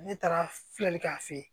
Ne taara filɛli k'a fɛ yen